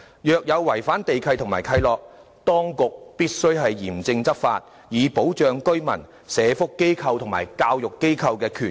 若有違反地契或契諾，當局必須嚴正執法，以保障居民、社福及教育機構的權益。